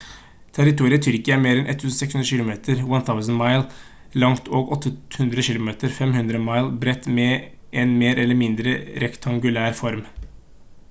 territoriet tyrkia er mer enn 1 600 kilometer 1000 mi langt og 800 km 500 mi bredt med en mer eller mindre rektangulær form